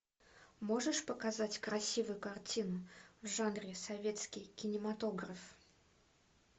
можешь показать красивую картину в жанре советский кинематограф